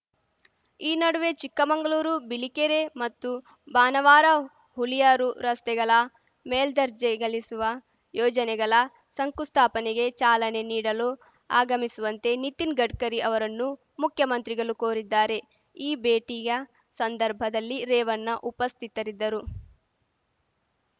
ಈ ನಡುವೆ ಚಿಕ್ಕಮಂಗಳೂರುಬಿಳಿಕೆರೆ ಮತ್ತು ಬಾಣಾವರಹುಲಿಯಾರು ರಸ್ತೆಗಲ ಮೇಲ್ದರ್ಜೆಗೆಲಿಸುವ ಯೋಜನೆಗಲ ಶಂಕುಸ್ಥಾಪನೆಗೆ ಚಾಲನೆ ನೀಡಲು ಆಗಮಿಸುವಂತೆ ನಿತಿನ್‌ ಗಡ್ಕರಿ ಅವರನ್ನು ಮುಖ್ಯಮಂತ್ರಿಗಲು ಕೋರಿದ್ದಾರೆ ಈ ಭೇಟಿಯ ಸಂದರ್ಭದಲ್ಲಿ ರೇವಣ್ಣ ಉಪಸ್ಥಿತರಿದ್ದರು